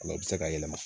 O la i bɛ se k'a yɛlɛma